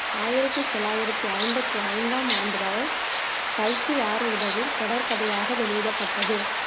ஆயிரத்தி தொள்ளாயிரத்தி ஐம்பத்தி ஐந்தாம் ஆண்டு வரை கல்கி வார இதழில் தொடர்கதையாக வெளியிடப்பட்டது